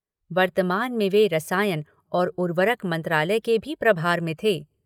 वर्तमान में वे रसायन और उवर्रक मंत्रालय के भी प्रभार में थे।